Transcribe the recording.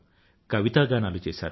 కవితాగానాలు చేసారు